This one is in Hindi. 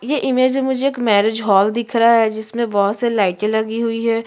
ये इमेज में मुझे एक मैरिज हॉल दिख रहा है जिसमे बहुत से लाइटे लगी हुई है।